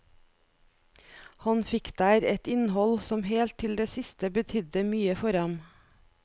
Han fikk der et innhold som helt til det siste betydde mye for ham.